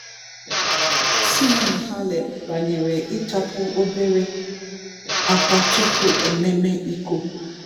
"Simona Halep banyere ịtapu obere akwa tupu ememe iko"